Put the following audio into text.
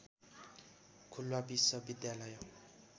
खुल्ला विश्वविद्यालय